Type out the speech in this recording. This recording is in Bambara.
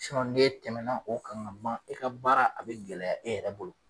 ni e tɛmɛna o kan kuma i ka baara a bɛ gɛlɛya e yɛrɛ bolo.